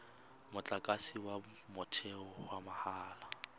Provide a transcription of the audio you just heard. motlakase wa motheo wa mahala